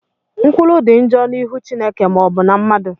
Nkwulu dị njọ n'ihu Chineke ma ọbụna mmadụ.